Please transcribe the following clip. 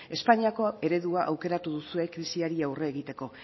espainiako eredua aukeratu duzue krisiari aurre egiteko